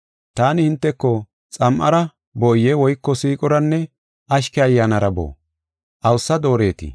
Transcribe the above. Taani hinteko xam7ara booye woyko siiqoranne ashke ayyaanara boo? Awusa dooretii?